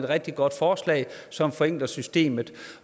rigtig godt forslag som forenkler systemet